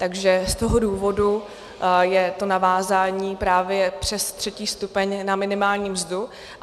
Takže z toho důvodu je to navázání právě přes třetí stupeň na minimální mzdu.